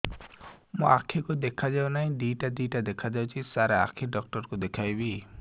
ମୋ ଆଖିକୁ ଦେଖା ଯାଉ ନାହିଁ ଦିଇଟା ଦିଇଟା ଦେଖା ଯାଉଛି ସାର୍ ଆଖି ଡକ୍ଟର କୁ ଦେଖାଇବି